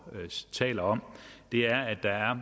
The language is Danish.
taler om er at der er